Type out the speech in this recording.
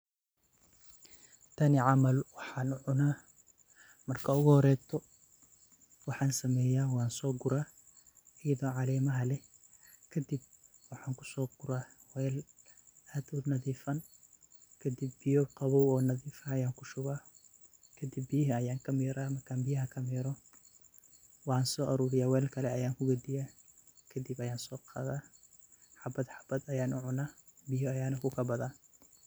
Tani camal waxan u cuna marki u horeyso wan so guraa gedaa calemaha leh kadib waxan kuso guraa mel nadifan , kadib bioy qawow oo nadif ayan kushubaa oo kadib habad habad ayan u cuna biyo ayanan kukabadaa.